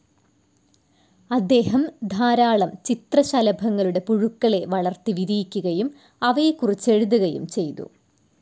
അദ്ദേഹം ധാരാളം ചിത്രശലഭങ്ങളുടെ പുഴുക്കളെ വളർത്തി വിരിയിക്കുകയും അവയെകുറിച്ചെഴുതുകയും ചെയ്തു.